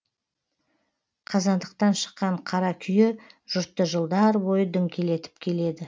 қазандықтан шыққан қара күйе жұртты жылдар бойы діңкелетіп келеді